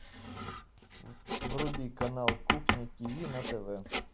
вруби канал кухня тв на тв